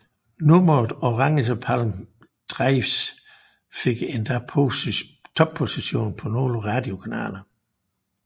Nummeret Orange Palm Drives fik endda topposition på nogle radiokanaler